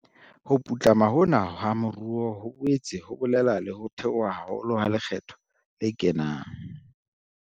Ho putlama hona ha moruo ho boetse ho bolela le ho theoha haholo ha lekgetho le kenang.